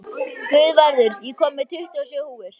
Guðvarður, ég kom með tuttugu og sjö húfur!